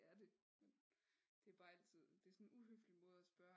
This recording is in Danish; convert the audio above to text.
Ja det det er bare altid det er sådan en uhøflig måde at spørge